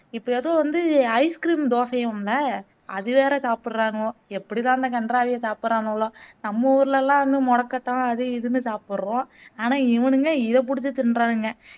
இப்போ எதோ வந்து ice cream தோசையாம்லே அது வேற சாப்புட்றானுவ எப்படிதான் இந்த கன்றாவிய சாப்புட்றானுவளோ னம்ம ஊருலேலாம் மொடக்கத்தான் அது இதுன்னு சாப்புட்றோம் ஆனா இவனுங்க இத புடிச்சு திண்றாங்க